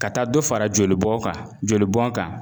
Ka taa dɔ fara jolibɔn kan jolibɔn kan